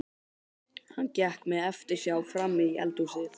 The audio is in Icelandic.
Hann gekk með eftirsjá frammí eldhúsið.